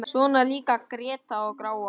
Svona líka gretta og gráa.